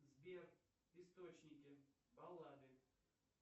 сбер источники баллады